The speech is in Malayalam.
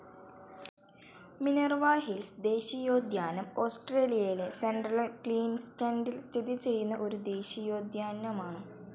മിനർവ ഹിൽസ്‌ ദേശീയോദ്യാനം ഓസ്ട്രേലിയയിലെ സെൻട്രൽ ക്വീൻസ്ലാൻഡിൽ സ്ഥിതിചെയ്യുന്ന ഒരു ദേശീയോദ്യാനമാണ്.